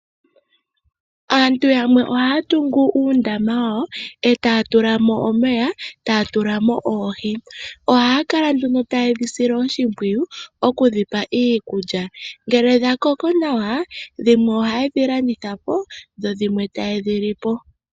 Aantu yamwe ohaya tungu uundama wawo e ta ya tula mo omeya, taya tula mo oohi, ohaya kala nduno taye dhi sile oshipwiyu oku dhipa iikulya, ngele dha koko nawa dhimwe ohaye dhi landitha po dho dhimwe taye dhi li po.